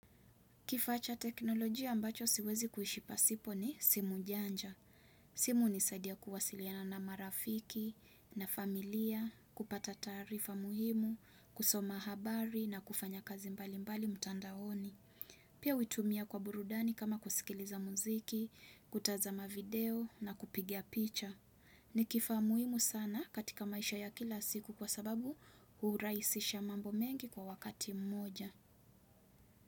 Kifaa cha teknolojia ambacho siwezi kuishi pasipo ni simu janja. Simu hunisaidia kuwasiliana na marafiki na familia, kupata taarifa muhimu, kusoma habari na kufanya kazi mbali mbali mtandaoni. Pia hutumia kwa burudani kama kusikiliza muziki, kutazama video na kupiga picha. Ni kifaa muhimu sana katika maisha ya kila siku kwa sababu hurahisisha mambo mengi kwa wakati mmoja.